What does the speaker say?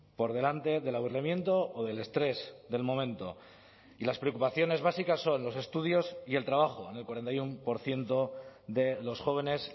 por delante del aburrimiento o del estrés del momento y las preocupaciones básicas son los estudios y el trabajo en el cuarenta y uno por ciento de los jóvenes